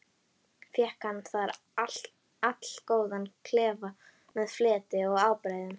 Fékk hann þar allgóðan klefa með fleti og ábreiðum.